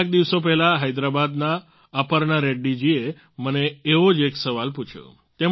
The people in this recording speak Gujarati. કેટલાક દિવસો પહેલાં હૈદરાબાદના અપર્ણા રેડ્ડી જીએ મને એવો જ એક સવાલ પૂછ્યો